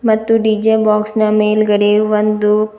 ಮತ್ತು D J box ನ ಮೇಲ್ಗಡೆ ಒಂದು--